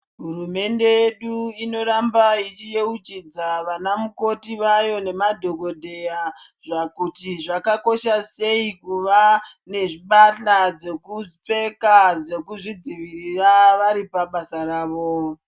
Hurumende yedu ino ramba ichi yeuchidza vana mukoti vayo ne madhokodheya kuti zvaka kosha sei kuva ne mbahla dzekupfeka dzekuzvi dzivirira vari pabasa ravo